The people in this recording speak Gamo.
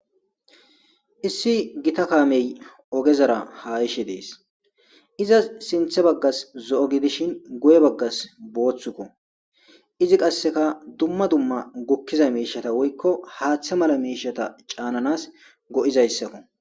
Issi gita kaamey ogezara haishe dees iza sinthe baggas zo'o gidishin guye baggas booththukko izi qasseka dumma dumma gokkiza miishata woykko haaththe mala miishata caananas go'izayssakko